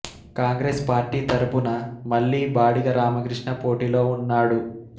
Congress party తరఫున మళ్ళీ బాడిగ రామకృష్ణ పోటీలో ఉన్నాడు